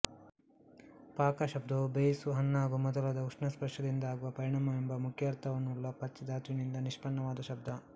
ಪಾಕ ಶಬ್ದವು ಬೇಯಿಸು ಹಣ್ಣಾಗು ಮೊದಲಾದ ಉಷ್ಣ ಸ್ಪರ್ಶದಿಂದಾಗುವ ಪರಿಣಾಮವೆಂಬ ಮುಖ್ಯಾರ್ಥವನ್ನುಳ್ಳ ಪಚ್ ಧಾತುವಿನಿಂದ ನಿಷ್ಪನ್ನವಾದ ಶಬ್ದ